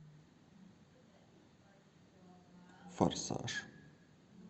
форсаж